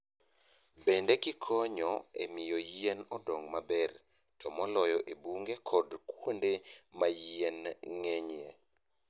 Bende gikonyo e miyo yien odong maber, to moloyo e bunge koda kuonde ma yien ng'enyie.